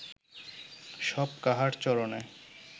সব কাহার চরণে